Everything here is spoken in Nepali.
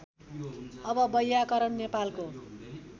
अब वैयाकरण नेपालको